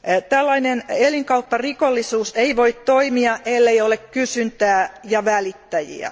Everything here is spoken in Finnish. Tällainen elinkaupparikollisuus ei voi toimia, ellei ole kysyntää ja välittäjiä.